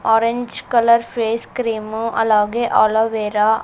orange colour face cream అలాగే aloe vera --